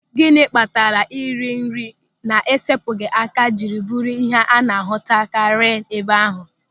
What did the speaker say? Gịnị kpatara ịrị nri na-esepụghị aka jiri bụrụ ịhe a na-ahụtakarị n'ebe ahụ?